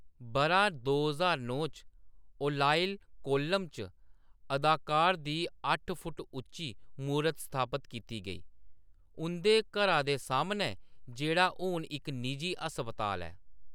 बʼरा दो ज्हार नौ च ओलाइल, कोल्लम च अदाकार दी अट्ठ फुट्ट उच्ची मूरत स्थापत कीती गेई उंʼदे घरा दे सामनै, जेह्‌‌ड़ा हून इक निजी हस्पताल ऐ।